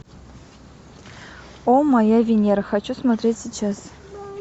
о моя венера хочу смотреть сейчас